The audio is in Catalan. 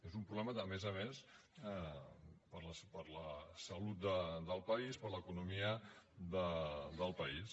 és un problema a més a més per la salut del país per l’economia del país